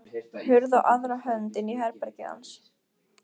Hurð á aðra hönd inn í herbergið hans.